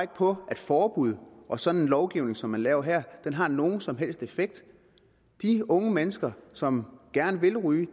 på at forbud og sådan en lovgivning som man laver her har nogen som helst effekt de unge mennesker som gerne vil ryge